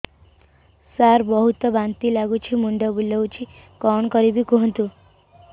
ସାର ବହୁତ ବାନ୍ତି ଲାଗୁଛି ମୁଣ୍ଡ ବୁଲୋଉଛି କଣ କରିବି କୁହନ୍ତୁ